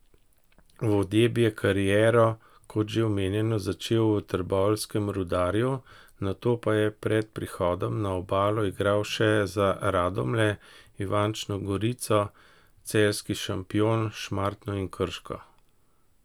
Vodeb je kariero, kot že omenjeno, začel v trboveljskem Rudarju, nato pa pred prihodom na Obalo igral še za Radomlje, Ivančno Gorico, celjski Šampion, Šmartno in Krško.